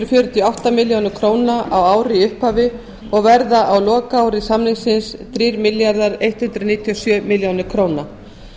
og átta milljónir króna á ári í upphafi og verða á lokaári samningsins þrjú þúsund hundrað níutíu og sjö milljónir króna